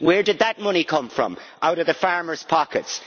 Where did that money come from? Out of the farmers' pockets.